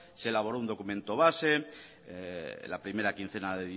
se elaboró un documento base la primera quincena